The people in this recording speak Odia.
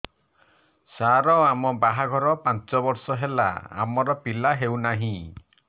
ସାର ଆମ ବାହା ଘର ପାଞ୍ଚ ବର୍ଷ ହେଲା ଆମର ପିଲା ହେଉନାହିଁ